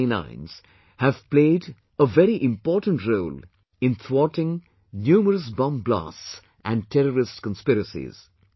Such canines have played a very important role in thwarting numerous bomb blasts and terrorist conspiracies